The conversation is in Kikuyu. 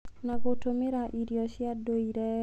na gũtũmĩra irio cia ndũire